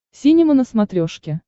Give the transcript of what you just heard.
синема на смотрешке